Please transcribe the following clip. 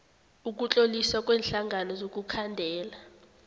ukutloliswa kweenhlangano zokukhandela